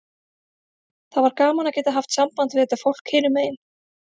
Það var gaman að geta haft samband við þetta fólk hinum megin.